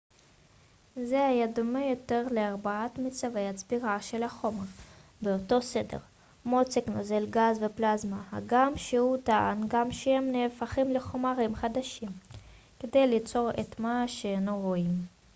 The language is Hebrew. זה היה דומה יותר לארבעת מצבי הצבירה של החומר באותו סדר: מוצק נוזל גז ופלזמה הגם שהוא טען גם שהם נהפכים לחומרים חדשים כדי ליצור את מה שאנו רואים